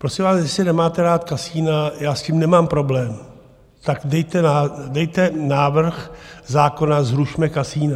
Prosím vás, jestli nemáte rád kasina, já s tím nemám problém, tak dejte návrh zákona, zrušme kasina.